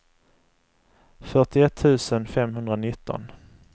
fyrtioett tusen femhundranitton